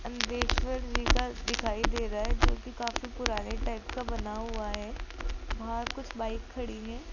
अंदेश्वर जी का दिखाई दे रहा है जोकि काफी पुराने टाइप का बना हुआ है बाहर कुछ बाइक खड़ी हैं।